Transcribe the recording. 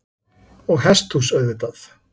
Og hesthús auðvitað.